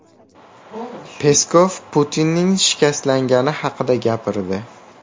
Peskov Putinning shikastlangani haqida gapirdi.